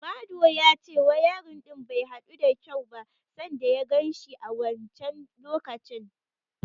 Madu ya ce wayarin din bai hadu da kyau ba sanda ya ganshi a wancen lokacin.